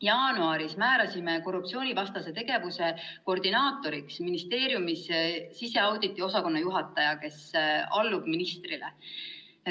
Jaanuaris määrasime korruptsioonivastase tegevuse koordinaatoriks ministeeriumis siseauditi osakonna juhataja, kes allub ministrile.